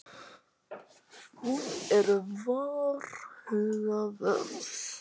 Hún er varhugaverð.